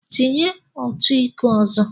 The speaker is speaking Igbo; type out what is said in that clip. Tinye otu iko ọzọ!